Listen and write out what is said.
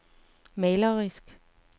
malerisk